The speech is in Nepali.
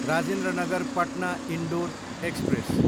राजेन्द्र नगर पटना, इन्डोर एक्सप्रेस